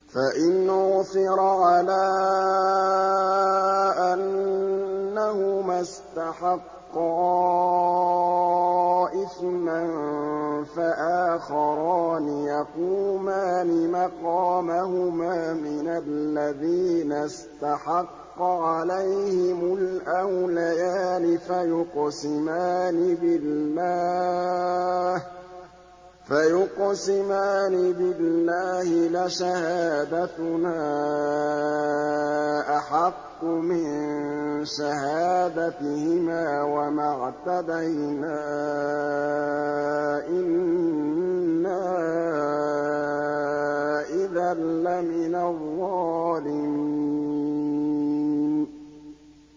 فَإِنْ عُثِرَ عَلَىٰ أَنَّهُمَا اسْتَحَقَّا إِثْمًا فَآخَرَانِ يَقُومَانِ مَقَامَهُمَا مِنَ الَّذِينَ اسْتَحَقَّ عَلَيْهِمُ الْأَوْلَيَانِ فَيُقْسِمَانِ بِاللَّهِ لَشَهَادَتُنَا أَحَقُّ مِن شَهَادَتِهِمَا وَمَا اعْتَدَيْنَا إِنَّا إِذًا لَّمِنَ الظَّالِمِينَ